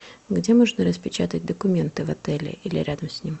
где можно распечатать документы в отеле или рядом с ним